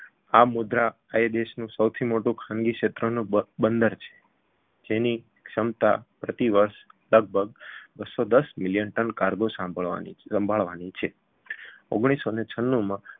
આ મુદ્રા એ દેશનું સૌથી મોટુ ખાનગી ક્ષેત્રનું બ બંદર છે જેની ક્ષમતા પ્રતિ વર્ષ લગભગ બસો દસ million ton કાર્ગો સાંભળવાની સંભાળવાની છે ઓગણીસસોને છન્નુમાં